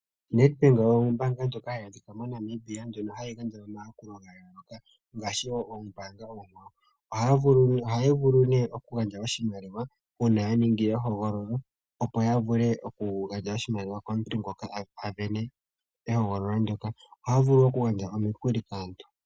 Nedbank ombaanga ndjoka hayi adhika moNamibia, ndjono hayi gandja omayakulo ga yooloka ngaashi wo oombaanga oonkwawo. Ohaya vulu nee okugandja oshimaliwa uuna ya ningi ehogololo, opo ya vule okugandja oshimaliwa komuntu ngono a sindana ehogololo ndyoka. Ohaya vulu okugandja omikuli kaantu.